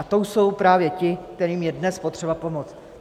A to jsou právě ti, kterým je dnes potřeba pomoct.